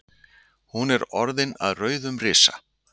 hún er orðin að rauðum risa